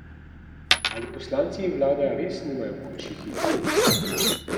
Ali poslanci in vlada res nimajo boljših idej?